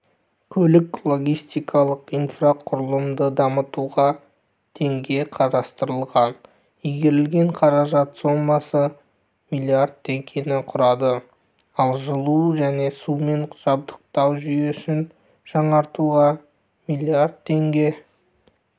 көлік-логистикалық инфрақұрылымды дамытуға теңге қарастырылған игерілген қаражат сомасы млрд теңгені құрады ал жылу және сумен жабдықтау жүйесін жаңғыртуға млрд теңге